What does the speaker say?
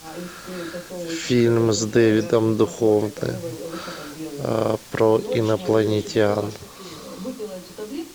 фильм с дэвидом духовны про инопланетян